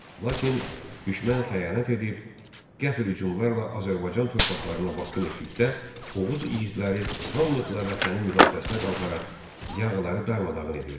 Lakin düşmən xəyanət edib, qəfil hücumlarla Azərbaycan torpaqlarına basqın etdikdə Oğuz igidləri hamılıqla vətənin müdafiəsinə qalxaraq yağıları darmadağın edirdilər.